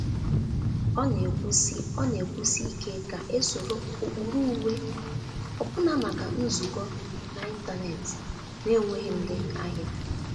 Ọ na-ekwusi Ọ na-ekwusi ike ka esoro ụkpụrụ uwe, ọbụna maka nzukọ na-intanetị na-enweghị ndị ahịa.